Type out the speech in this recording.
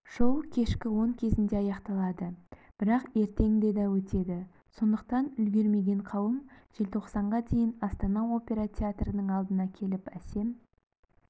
шоу кешкі он кезінде аяқталады бірақ ертең де да өтеді сондықтан үлгермеген қауым желтоқсанға дейін астана опера театрының алдына келіп әсем